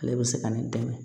Ale bɛ se ka ne dɛmɛ